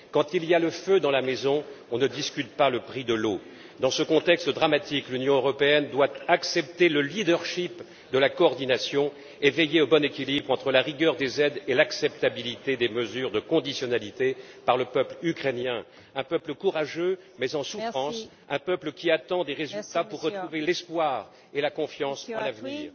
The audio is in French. Quand il y a le feu dans la maison, on ne discute pas le prix de l'eau. Dans ce contexte dramatique, l'Union européenne doit accepter le leadership de la coordination et veiller au bon équilibre entre la rigueur des aides et l'acceptabilité des mesures de conditionnalité par le peuple ukrainien, un peuple courageux mais en souffrance, un peuple qui attend des résultats pour retrouver l'espoir et la confiance en l'avenir.